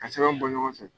Ka sɛbɛn bɔ ɲɔgɔn fɛ